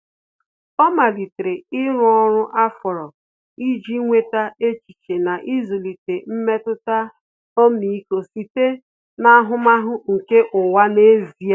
Ọ́ malitere ịrụ ọrụ afọọrụ iji nweta echiche na ịzụlite mmetụta ọmịiko site n’ahụmahụ nke ụwa n’ezie.